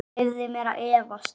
Ég leyfi mér að efast.